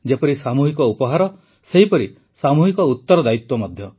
ଯେପରି ସାମୂହିକ ଉପହାର ସେହିପରି ସାମୂହିକ ଉତରଦାୟିତ୍ୱ ମଧ୍ୟ